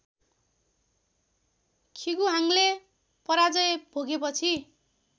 खिगुहाङले पराजय भोगेपछि